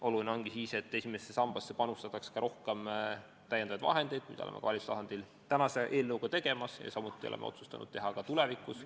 Oluline ongi siis, et esimesse sambasse panustataks rohkem lisavahendeid, mida me olemegi valitsuse tasandil tänase eelnõuga tegemas ja oleme otsustanud teha ka tulevikus.